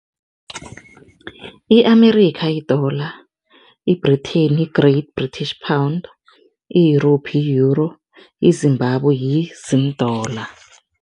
I-Amerikha yi-Dollar, i-Britain yi-Great British Pound, i-Europe yi-Euro, iZimbabwe yi-Zim Dollar.